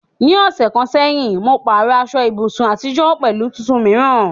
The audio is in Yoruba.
Ní ọ̀sẹ̀ kan sẹ́yìn, mo pààrọ̀ aṣọ ibùsùn àtijọ́ pẹ̀lú tuntun mìíràn.